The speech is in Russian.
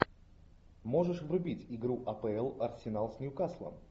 можешь врубить игру апл арсенал с ньюкаслом